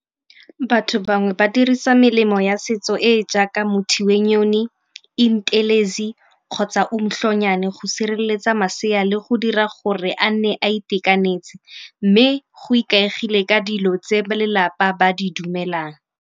Batho bangwe ba dirisa melemo ya setso e e jaaka Muthi wenyoni, kgotsa go sireletsa masea le go dira gore a nne a itekanetse. Mme go ikaegile ka dilo tse ba lelapa ba di dumelang.